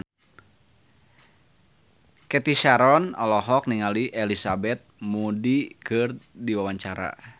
Cathy Sharon olohok ningali Elizabeth Moody keur diwawancara